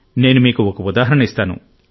నేను మీకు ఒక ఉదాహరణ ఇస్తాను